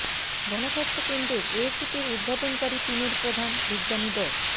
গণস্বাস্থ্য কেন্দ্রের এ কিটের উদ্ভাবনকারী টিমের প্রধান বিজ্ঞানী ড